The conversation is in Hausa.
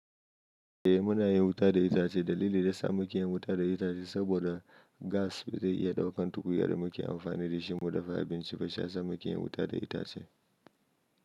Eh muna yin wuta da itace. Dalili da sa muke yin wuta da itace saboda gas bai iya ɗaukan tukunya da muke amfani da shi mu dafa abinci ba, shiyasa muke yin wuta da itace.